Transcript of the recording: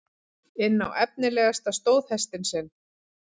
inn á efnilegasta stóðhestinn sinn.